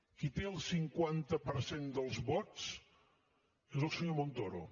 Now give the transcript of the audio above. qui té el cinquanta per cent dels vots és el senyor montoro